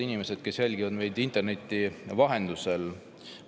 Head inimesed, kes jälgivad meid interneti vahendusel!